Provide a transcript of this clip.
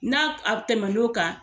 N'a a tɛmɛ n'o kan